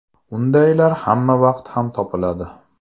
Undaylar hamma vaqt ham topiladi.